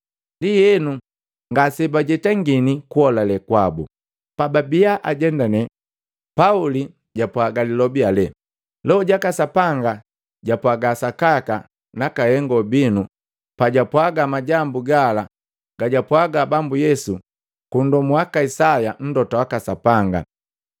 Ndienu, ngase bajetangini kuolale kwabu. Pababia ajendane Pauli japwaaga lilobi ale, “Loho jaka Sapanga japwaga sakaka naka hengo binu pajapwaaga majambu gala gajapwaaga Bambu Yesu kundomu wiki Isaya Mlota waka Sapanga.